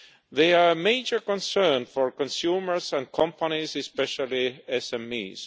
They are a major concern for consumers and companies, especially SMEs.